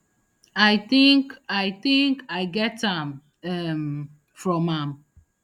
i think i think i get am um from am